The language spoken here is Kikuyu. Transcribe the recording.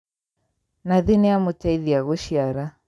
Nathi nĩamũteithia gũciara